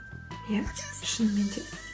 иә шынымен де